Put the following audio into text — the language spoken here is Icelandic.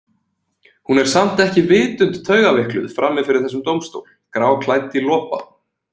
Hún er samt ekki vitund taugaveikluð frammi fyrir þessum dómstól, gráklædd í lopa.